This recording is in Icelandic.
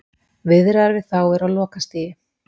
Viðræður við þá eru á lokastigi.